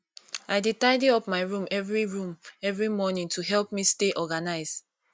i dey tidy up my room every room every morning to help me stay organized